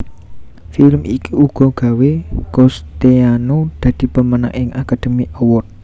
Film iki uga gawé Cousteau dadi pemenang ing Academy Award